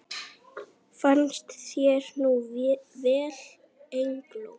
Farnist þér nú vel, Eygló.